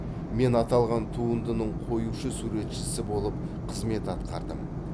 мен аталған туындының қоюшы суретшісі болып қызмет атқардым